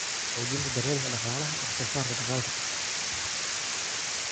Xoojinta Daryeelka Dhaqaalaha Wax soo saarka Dalagga.